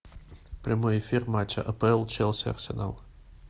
прямой эфир матча апл челси арсенал